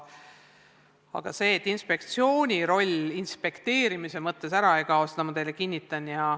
Aga inspektsiooni roll inspekteerimise mõttes ära ei kao, seda ma teile kinnitan.